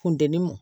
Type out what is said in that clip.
Funteni m